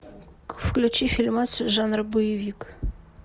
включи фильмас жанра боевик